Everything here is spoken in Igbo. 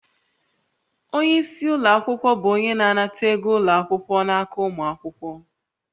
Onye isi ụlọ akwụkwọ bụ onye na-anata ego ụlọ akwụkwọ n'aka ụmụ akwụkwọ